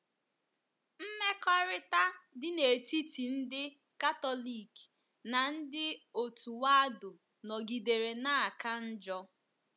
Mmekọrịta dị n’etiti ndị Katọlik na ndị òtù Waldo nọgidere na - aka njọ.